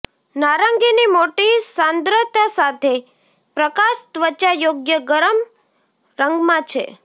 નારંગીની મોટી સાંદ્રતા સાથે પ્રકાશ ત્વચા યોગ્ય ગરમ રંગમાં છે